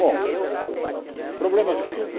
Bom, o problema é o seguinte.